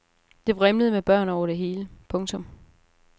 Det vrimlede med børn over det hele. punktum